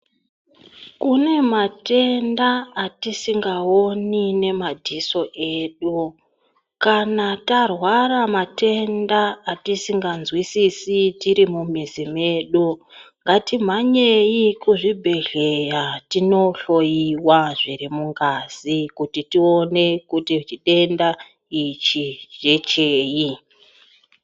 Kune matenda atisingaoni ngemadziso edu kana tarwara matenda atisinganzwisisi tiri mumizi mwedu ngatimhanyeyi kuzvibhedhera tindohloyiwa zviri mungazi kuti tione kuti chitenda ichi ngecheyi.